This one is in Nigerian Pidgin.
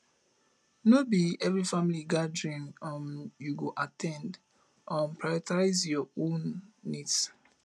no be every family gathering um you go at ten d um prioritize your own needs